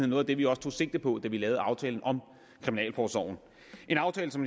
noget af det vi også tog sigte på da vi lavede aftalen om kriminalforsorgen